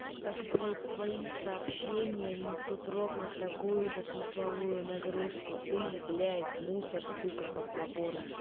так блять твои сообщения несут ровно такую же смысловую нагрузку ты блять мусор сука подзаборный